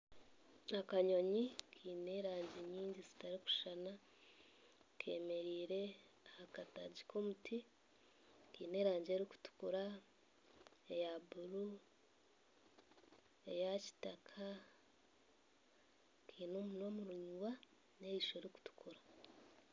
Akanyonyi kaine erangi nyingi zitarikushushana kemereire aha kataagi k'omuti kaine erangi erikutukura eya buru eya kitaka Kaine omunwa muraingwa neriisho ririkutukura